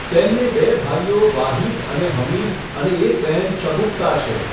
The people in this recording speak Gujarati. તેમને બે ભાઈઓ વાહિદ અને હમીદ અને એક બહેન શગુફ્તા છે.